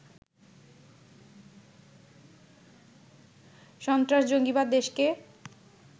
সস্ত্রাস-জঙ্গিবাদ দেশকে